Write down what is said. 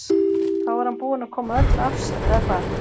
Þá er hann búinn að koma öllu af sér eða hvað?